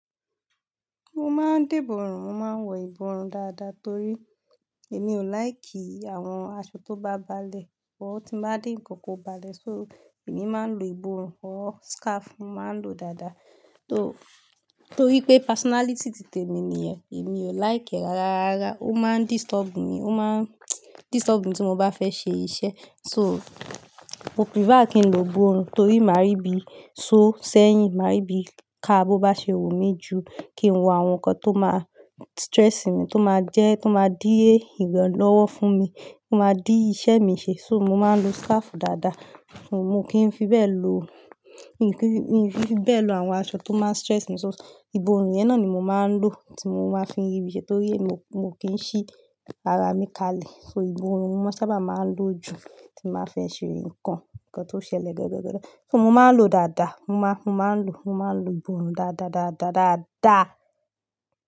Mo máa ń dìbò rùn, mo máa ń wọ ìbòrùn dáadáa torí èmi ò lai ki àwọn aṣọ tó bá balẹ̀ wọ̀, tí ó bá dín ǹkan kó balẹ̀. So èmi máa ń lo ìbòrùn or scarf máa ń lo dáadáa. Torí pé personality titẹ mi nìyẹn, èmi ò láìkì rárá. Ó máa ń disturb mi, ó máa disturb mi tí mo bá fẹ́ ṣe iṣẹ́. So mo prefer kí n lo ìbòrùn torí máa rí bí, so sẹ́yìn máa rí bí ká bó bá ṣe wù mí ju kí n wọ àwọn nǹkan tó máa stress mi, tó máa jẹ́, tó máa dí èrò lọ́wọ́ fún mi, tó máa dí iṣẹ́ mi ṣe. So mo máa ń lo scarf dáadáa, mo kì í fi bẹ́ẹ̀ lo, mo kì í fi bẹ́ẹ̀ lo àwọn aṣọ tó máa stress mi. So ìbòrùn yẹn náà ni mo máa ń lò tí mo máa fi ri i ṣe torí èmi ò kí ń ṣí ara mi kalẹ̀. So ìbòrùn mo ma n sábà máa ń lò jù tí mo bá fẹ́ ṣe nǹkan, nǹkan tó ṣẹlẹ̀ gẹ́gẹ́ gẹ́gẹ́. So mo máa ń lo dáadáa, mo máa ń lo, mo máa ń lo ìbòrùn dáadáá, dáadáá, dáadáá.